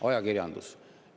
Ajakirjandus.